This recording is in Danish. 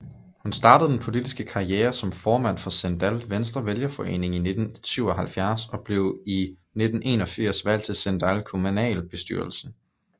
Hun startede den politiske karriere som formand for Sindal Venstrevælgerforening i 1979 og blev i 1981 valgt til Sindal Kommunalbestyrelse